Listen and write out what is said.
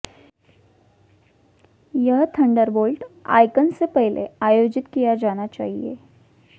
यह Thunderbolt icon से पहले आयोजित किया जाना चाहिए